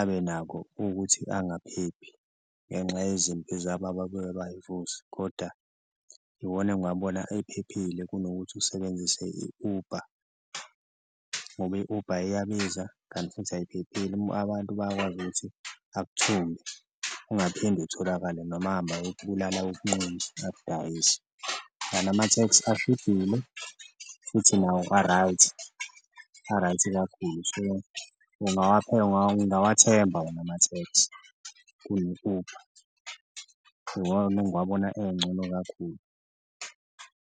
abenako ukuthi angaphephi ngenxa yezimpi zabo ababuye bayivuse koda iwona engiwabona ephephile kunokuthi usebenzise i-Uber ngoba i-Uber iyabiza kanti futhi ayiphephile, abantu bayakwazi ukuthi akuthumbe ungaphinde utholakale noma ahambe ayokubulala ayokunquma, akudayise. Kanti amatheksi ashibhile futhi nawo a-right, a-right kakhulu so, ungawethemba wona amatheksi kune-Uber iwona engiwabona encono kakhulu.